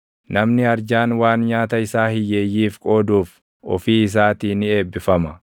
Namni arjaan waan nyaata isaa hiyyeeyyiif qooduuf ofii isaatii ni eebbifama.